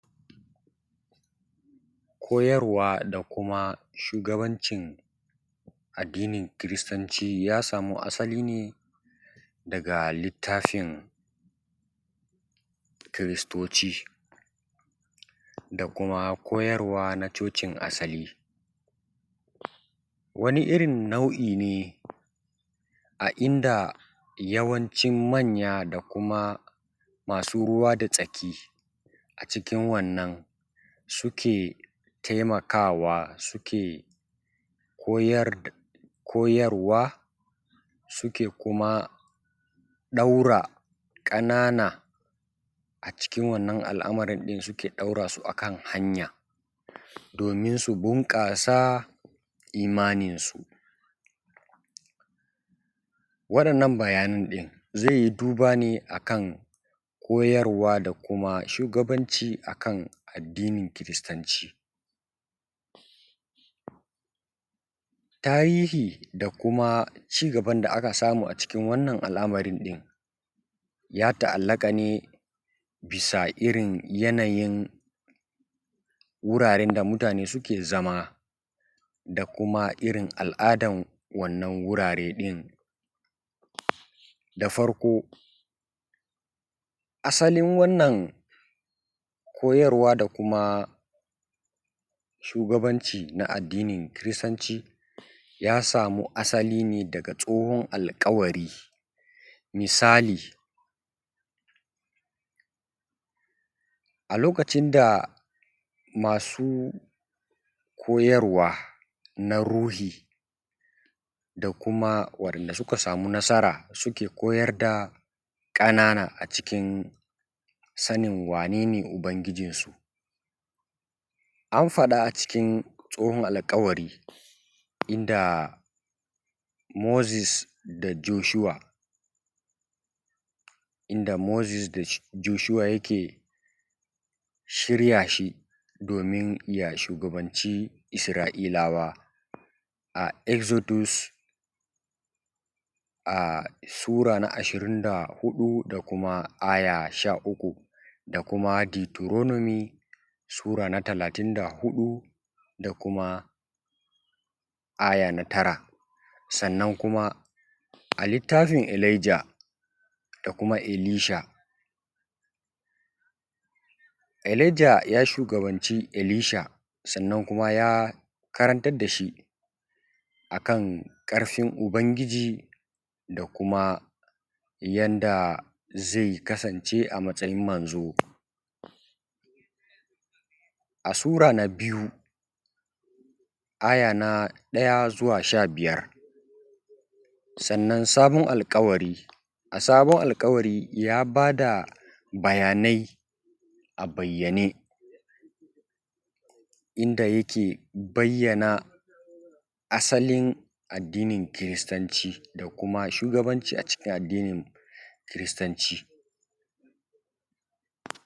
koyarwa da kuma shugabancin addinin kiristanci ya samu asali ne daga littafin kiristoci da kuma koyarwa na cocin asali wani irin nau’i ne a inda yawancin manya da kuma masu ruwa da tsaki a cikin wannan suke taimakawa suke koyar da koyarwa suke kuma ɗora ƙanana a cikin wannan al’amarin ɗin suke ɗora su a kan hanya domin su bunƙasa imaninsu waɗannan bayanan ɗin zai yi duba ne a kan koyarwa da kuma shugabanci: a kan addinin kiristanci tarihi da kuma ci gaban da aka samu a cikin wannan al’amarin ɗin ya ta’allaƙa ne bisa irin yanayin wuraren da mutane suke zama da kuma irin al’adan wannan wurare ɗin da farko asalin wannan koyarwa da kuma shugabanci na addinin kiristanci ya samu asali ne daga tsohon alƙawari misali a lokacin da masu koyarwa na ruhi da kuma waɗanda suka samu nasara suke koyar da ƙanana a cikin sanin wane ne ubangijinsu an faɗa a cikin tsohon alƙawari inda moses da joshua inda moses da joshua yake shirya shi domin ya shugabanci isra’ilawa a exodus sura na ashirin da huɗu da kuma aya sha uku da kuma deuteronomy sura na talatin da huɗu da kuma aya na tara sannan kuma a littafin elijah da kuma elisha elijah ya shugabanci elisha sannan kuma ya karantar da shi a kan ƙarfin ubangiji da kuma yanda zai kasance a matsayin manzo a sura na biyu aya na ɗaya zuwa sha biyar sannan sabon alƙawari a sabon alƙawari ya ba da bayanai a bayyane inda yake bayyana asalin addinin kiristanci da kuma shugabanci a cikin addinin kiristanci